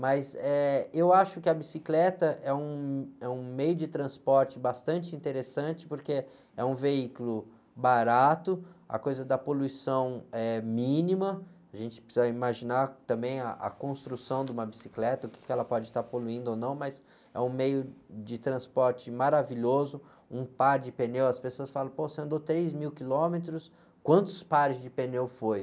Mas, eh, eu acho que a bicicleta é um, é um meio de transporte bastante interessante, porque é um veículo barato, a coisa da poluição é mínima, a gente precisa imaginar também ah, a construção de uma bicicleta, o que ela pode estar poluindo ou não, mas é um meio de transporte maravilhoso, um par de pneus, as pessoas falam, pô, você andou três mil quilômetros, quantos pares de pneu foi?